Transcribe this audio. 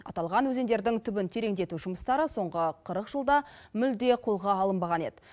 аталған өзендердің түбін тереңдету жұмыстары соңғы қырық жылда мүлде қолға алынбаған еді